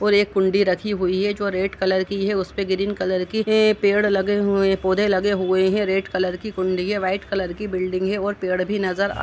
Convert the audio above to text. और एक कुण्डी रखी हुए है जो रेड कलर की है और उस पे ग्रीन कलर के पेड़ लगे हुए है पौध लगे हुए हैं। रेड कलर की कुण्डी है व्हाइट कलर के बिल्डिंग है और पेड़ भी नजर आ --